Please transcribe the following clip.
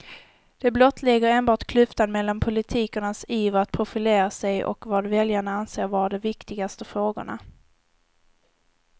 Det blottlägger enbart klyftan mellan politikernas iver att profilera sig och vad väljarna anser vara de viktigaste frågorna.